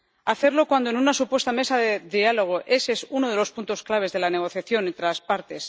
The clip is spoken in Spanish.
hacerlo cuando en una supuesta mesa de diálogo ese es uno de los puntos claves de la negociación entre las partes